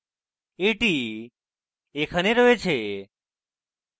এটি এখানে রয়েছে